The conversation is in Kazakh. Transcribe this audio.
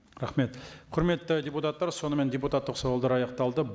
рахмет құрметті депутаттар сонымен депутаттық сауалдар аяқталды